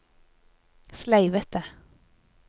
sleivete